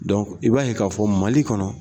Dɔnku i b'a ye k'a fɔ Mali kɔnɔ